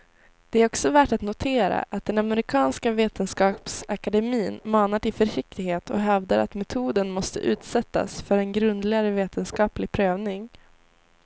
Det är också värt att notera att den amerikanska vetenskapsakademin manar till försiktighet och hävdar att metoden måste utsättas för en grundligare vetenskaplig prövning.